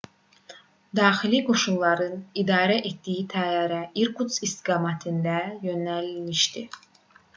daxili qoşunların idarə etdiyi təyyarə i̇rkutsk istiqamətində yönəlmişdi